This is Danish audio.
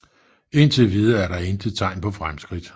Indtilvidere er der intet tegn på fremskridt